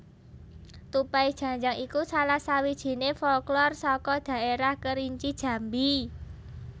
Tupai Janjang iku salah sawijinè folklor saka dhaérah Kerinci Jambi